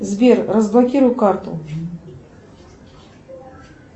сбер разблокируй карту